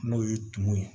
N'o ye tumu ye